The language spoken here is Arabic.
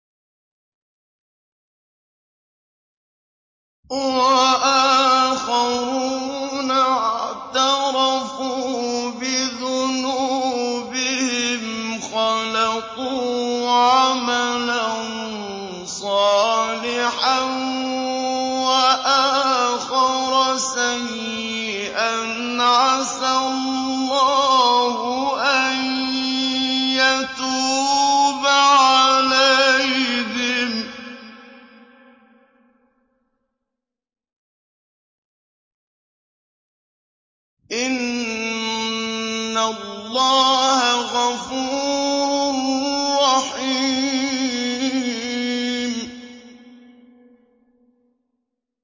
وَآخَرُونَ اعْتَرَفُوا بِذُنُوبِهِمْ خَلَطُوا عَمَلًا صَالِحًا وَآخَرَ سَيِّئًا عَسَى اللَّهُ أَن يَتُوبَ عَلَيْهِمْ ۚ إِنَّ اللَّهَ غَفُورٌ رَّحِيمٌ